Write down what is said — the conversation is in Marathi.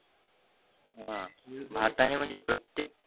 हा भारताने म्हणजे प्रत्येक